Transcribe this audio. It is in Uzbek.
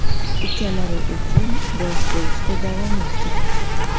ukalari uchun bosh bo‘lishda davom etgan.